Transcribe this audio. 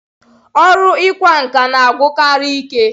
Ọrụ ịkwa nkà na-agwụkarị ike.